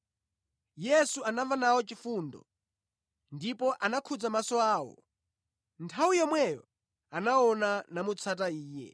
Yesu anamva nawo chifundo ndipo anakhudza maso awo. Nthawi yomweyo anaona namutsata Iye.